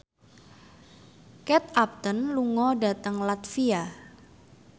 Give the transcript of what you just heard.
Kate Upton lunga dhateng latvia